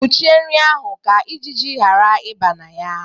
Kwụchie nri ahụ ka ijiji yara ibe na ya